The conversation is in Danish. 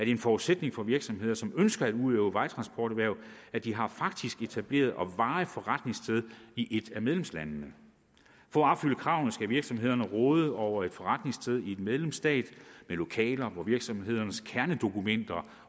en forudsætning for virksomheder som ønsker at udøve vejtransporterhverv at de har et faktisk etableret og varigt forretningssted i et af medlemslandene for at opfylde kravene skal virksomhederne råde over et forretningssted i medlemsstat med lokaler hvor virksomhedens kernedokumenter